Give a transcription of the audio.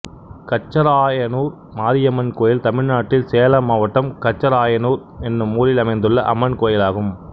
கச்சராயனூர் மாரியம்மன் கோயில் தமிழ்நாட்டில் சேலம் மாவட்டம் கச்சராயனூர் என்னும் ஊரில் அமைந்துள்ள அம்மன் கோயிலாகும்